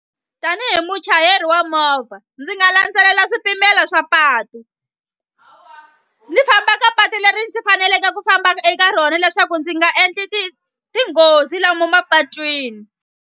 Tanihi muchayeri wa movha ndzi nga landzelela swipimelo swa patu ni famba ka patu leri ndzi faneleke ku famba eka rona leswaku ndzi nga endli tinghozi lomu mapatwini.